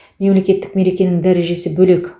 мемлекеттік мерекенің дәрежесі бөлек